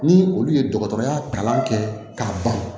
Ni olu ye dɔgɔtɔrɔya kalan kɛ k'a ban